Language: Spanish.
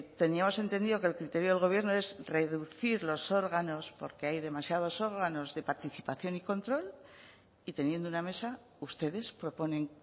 teníamos entendido que el criterio del gobierno es reducir los órganos porque hay demasiados órganos de participación y control y teniendo una mesa ustedes proponen